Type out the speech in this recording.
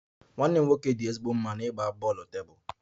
Nwanne m nwoke nke obere dị ezigbo mma n'ịgba tennis tebụl